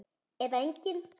Eða engin?